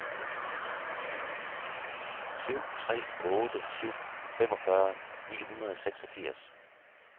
syv tre otte syv femogfyrre ni hundrede og seksogfirs